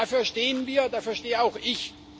Dafür stehen wir, dafür stehe auch ich.